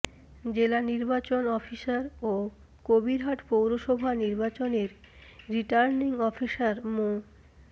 জেলা নির্বাচন অফিসার ও কবিরহাট পৌরসভা নির্বাচনের রিটার্নিং অফিসার মো